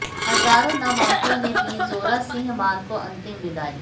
हजारों नम आंखों ने दी जोरा सिंह मान को अंतिम विदाई